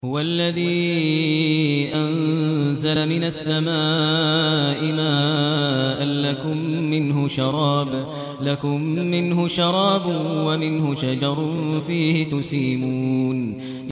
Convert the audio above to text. هُوَ الَّذِي أَنزَلَ مِنَ السَّمَاءِ مَاءً ۖ لَّكُم مِّنْهُ شَرَابٌ وَمِنْهُ شَجَرٌ فِيهِ تُسِيمُونَ